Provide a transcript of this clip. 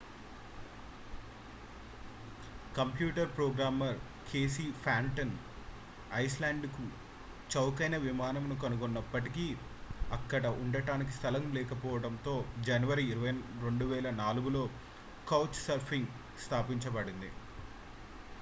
computer programmer Casey Fenton ఐస్లాండ్కు చౌకైన విమానమును కనుగొన్నప్పటికీ అక్కడ ఉండటానికి స్థలం లేకపోవడంతో జనవరి 2004 లో కౌచ్ సర్ఫింగ్ స్థాపించబడింది